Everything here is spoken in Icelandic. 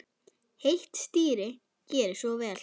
Heitt stýri, gerið svo vel.